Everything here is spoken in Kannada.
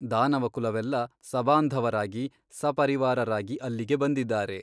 ದಾನವಕುಲವೆಲ್ಲ ಸಬಾಂಧವರಾಗಿ ಸಪರಿವಾರರಾಗಿ ಅಲ್ಲಿಗೆ ಬಂದಿದ್ದಾರೆ.